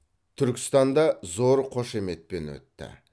түркістанда зор қошеметпен өтті